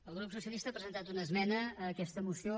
el grup socialista ha presentat una esmena a aquesta moció